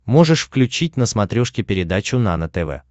можешь включить на смотрешке передачу нано тв